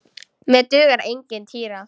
Mér dugar engin týra!